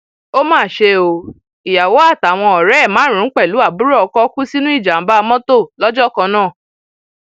ó mà ṣe o ìyàwó àtàwọn ọrẹ ẹ márùnún pẹlú àbúrò ọkọ kú sínú ìjàmbá mọtò lọjọ kan náà